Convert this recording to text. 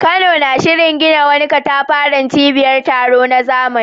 Kano na shirin gina wani katafaren cibiyar taro na zamani.